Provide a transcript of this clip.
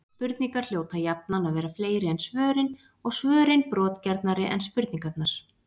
Spurningar hljóta jafnan að vera fleiri en svörin, og svörin brotgjarnari en spurningarnar.